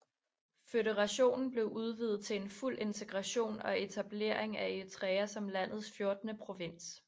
Føderationen blev udvidet til en fuld integration og etablering af Eritrea som landets fjortende provins